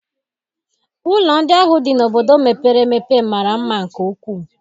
Ụlọ ndị ahụ dị n'obodo mepere emepe mara mma nke ukwuu.